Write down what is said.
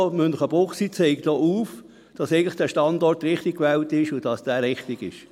Also: Münchenbuchsee zeigt auch auf, dass der Standort eigentlich richtig gewählt ist und dass er richtig ist.